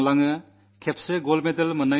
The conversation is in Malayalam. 12 വർഷങ്ങൾ കൊണ്ട് പ്രായമേറുന്നു